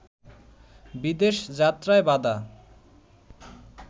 বিদেশ যাত্রায় বাধা